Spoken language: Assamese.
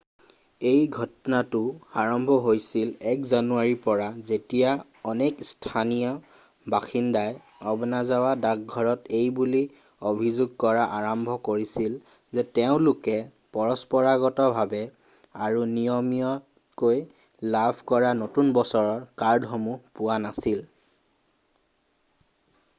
এই ঘটনাটো আৰম্ভ হৈছিল 1 জানুৱাৰীৰ পৰা যেতিয়া অনেক স্থানীয় বাসিন্দাই অ'বনাজাৱা ডাক ঘৰত এইবুলি অভিযোগ কৰা আৰম্ভ কৰিছিল যে তেওঁলোকে পৰম্পৰাগতভাৱে আৰু নিয়মীয়াকৈ লাভ কৰা নতুন বছৰৰ কাৰ্ডসমূহ পোৱা নাছিল